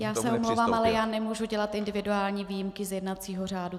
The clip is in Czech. Já se omlouvám, ale já nemohu dělat individuální výjimky z jednacího řádu.